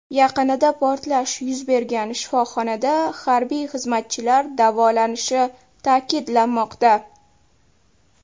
Yaqinida portlash yuz bergan shifoxonada harbiy xizmatchilar davolanishi ta’kidlanmoqda.